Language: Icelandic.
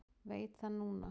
Veit það núna.